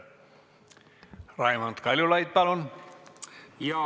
Raimond Kaljulaid, palun!